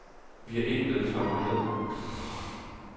Vi er blevet knoklet ned.